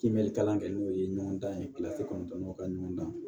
Kibɛ kalan kɛ n'o ye ɲɔgɔndan ye kɔnɔntɔnnɔ ka ɲɔgɔn dan